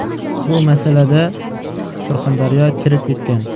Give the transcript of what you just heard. Bu masalada Surxondaryo chirib ketgan.